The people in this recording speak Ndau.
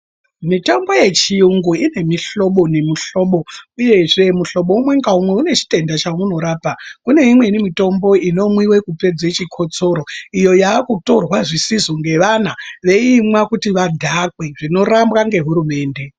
Mitombo yechiyungu inemihlobo nemihlobo, uyezve muhlobo umwe ngaumwe une chitenda chaunorapa. Kune imweni mitombo yakanasirirwa kupedza chikosoro yotorwa ngevana vadoori veimwa kuti vadhakwe zvinorambwe ngehurumende.